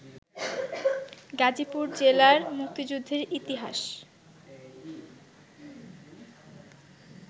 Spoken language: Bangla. গাজীপুর জেলার মুক্তিযুদ্ধের ইতিহাস